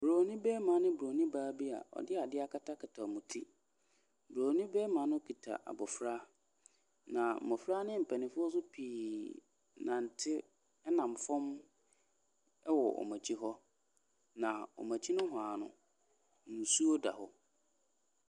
Bronin barima ne bronin baa bi a wɔde adeɛ akatakata wwɔn ti. Bronin barima no kita abɔfra. Na mmɔfra ne mpanimfoɔ nso pii nante nam fam wɔ wɔn akyi hɔ. na wɔn akyi nohoa no, nsuo da hɔ.